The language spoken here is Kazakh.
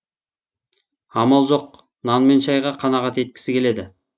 амал жоқ нан мен шайға қанағат еткісі келеді